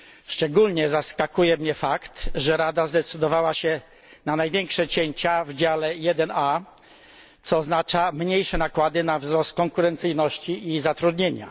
Szczególnie zaskakuje mnie fakt, że Rada zdecydowała się na największe cięcia w dziale 1A, co oznacza mniejsze nakłady na wzrost konkurencyjności i zatrudnienia.